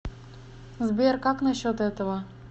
сбер как на счет этого